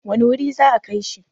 wane wuri za a Kai shi?